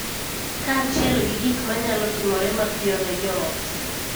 Kaachiel gi gik ma nyalo timore mapiyo ne jo ot,